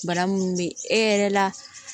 Bana minnu bɛ e yɛrɛ la